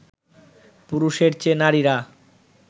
পুরুষের চেয়ে নারীরা